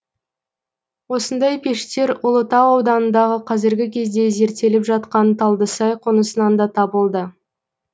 осындай пештер ұлытау ауданындағы қазіргі кезде зерттеліп жатқан талдысай қонысынан да табылды